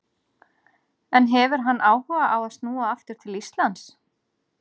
En hefur hann áhuga á að snúa aftur til Íslands?